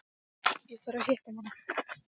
Ég þarf að hitta mann.